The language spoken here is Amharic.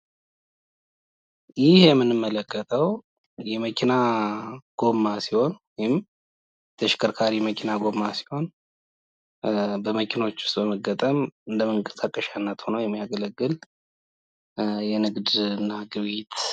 ይህ የምንመለከተው የመኪና ጎማ ሲሆን በመኪናዎች ውስጥ በመገጠም ለመንቀሻነት የሚያገለግል የንግድና የግብይት ነው።